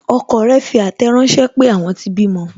Ọkọ rẹ fi àtẹ̀ ránsẹ́ pé, àwọn tí bímọ